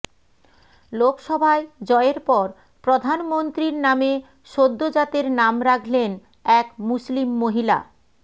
লোকসভায় জয়ের পর প্রধানমন্ত্রীর নামে সদ্যোজাতের নাম রাখলেন এক মুসলিম মহিলা